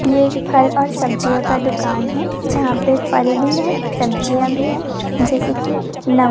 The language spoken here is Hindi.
ये एक फल और सब्जियों का दुकान है जहाँ पे फल भी है सब्जियाँ भी है जैसे कि नव --